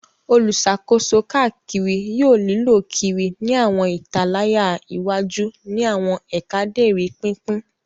Oluṣakoso kaakiri yoo lilö kiri ni awọn italaya iwaju ni awọn eekaderi pinpin